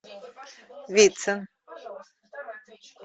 вицин